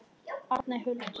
Arney Huld.